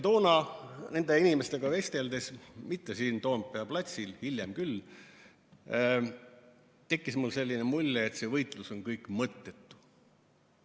Toona nende inimestega vesteldes, mitte siin Toompea platsil, hiljem küll, tekkis mul selline mulje, et see võitlus on kõik mõttetu.